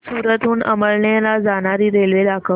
सूरत हून अमळनेर ला जाणारी रेल्वे दाखव